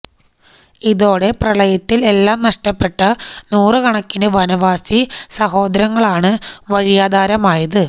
ഇതോടെ പ്രളയത്തില് എല്ലാം നഷ്ടമായ നൂറുകണക്കിന് വനവാസി സഹോദരങ്ങളാണ് വഴിയാധാരമായത്